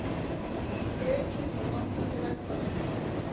Ekið á gangandi vegfaranda